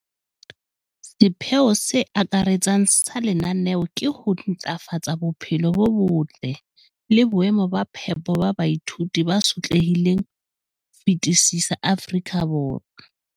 sepheo se akaretsang sa lenaneo ke ho ntlafatsa bophelo bo botle le boemo ba phepo ba baithuti ba sotlehileng ho fetisisa Afrika Borwa.